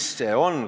Mis see on?